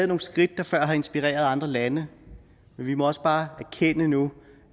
nogle skridt der før har inspireret andre lande men vi må også bare erkende nu